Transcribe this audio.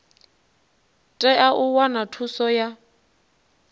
tea u wana thuso ya